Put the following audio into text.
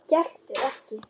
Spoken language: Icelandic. Geltir ekki.